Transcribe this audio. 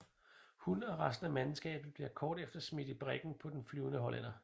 Hun og resten af mandskabet bliver kort efter smidt i briggen på Den Flyvende Hollænder